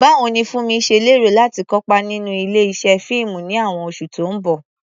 Báwo ni Funmi ṣe lérò láti kópa nínú ilé-iṣẹ́ fíìmù ní àwọn oṣù tó ń bọ̀?